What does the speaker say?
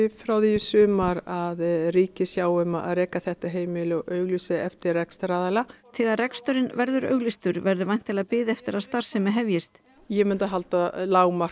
frá því sumar að ríkið sjái um að reka þetta heimili og auglýsi eftir rekstraraðila þegar reksturinn verður auglýstur verður væntanlega bið eftir að starfsemi hefjist ég myndi halda að lágmarki